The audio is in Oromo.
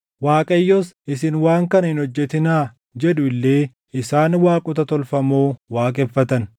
Waaqayyos, “Isin waan kana hin hojjetinaa” jedhu illee isaan waaqota tolfamoo waaqeffatan.